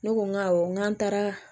Ne ko n ko awɔ n ko n'an taara